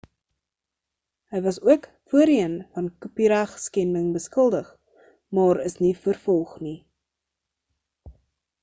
hy was ook voorheen van kopieregskending beskuldig maar is nie vervolg nie